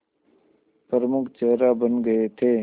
प्रमुख चेहरा बन गए थे